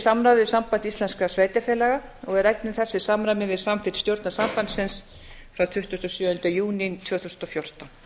samráði við samband íslenskra sveitarfélaga og við ræddum þessi samræmi við samþykkt stjórnar sambandsins frá tuttugasta og sjöunda júní tvö þúsund og fjórtán